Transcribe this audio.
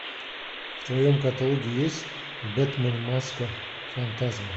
в твоем каталоге есть бэтмен маска фантазма